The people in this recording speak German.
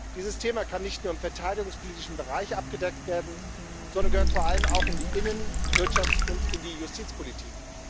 Dieses Thema kann nicht nur im verteidigungspolitischen Bereich abgedeckt werden, sondern gehört vor allem auch in die Innen Wirtschafts und in die Justizpolitik.